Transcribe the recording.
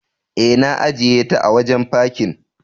E, na ajiyeta a wajen fakin.